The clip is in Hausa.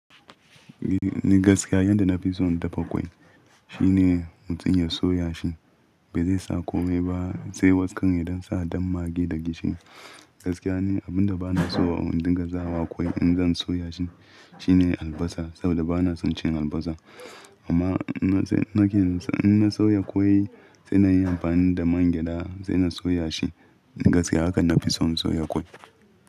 Ni gaskiya yadda na fi so in dafa kwai shine mutum ya soya shi bai zai sa komai ba, sai wakar idan sa dan magi da gishiri. Gaskiya ne abin da ba na so a indiga sawa kwai in zan soya shi shine albasa saboda ba na son cin albasa. Amma in na sauya kwai sai na yi amfani da man gyada sai na soya shi. Gaskiya haka na fi so in soya kwai.